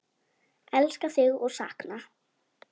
Elska þig og sakna!